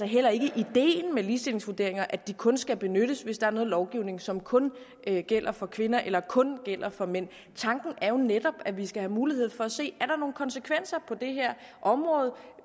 heller ikke ideen med ligestillingsvurderinger at de kun skal benyttes hvis der er noget lovgivning som kun gælder for kvinder eller kun gælder for mænd tanken er netop at vi skal have mulighed for at se om er nogle konsekvenser